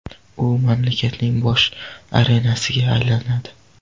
U mamlakatning bosh arenasiga aylanadi.